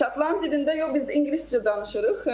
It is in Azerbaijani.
Şotland dilində yox, biz ingiliscə danışıırıq.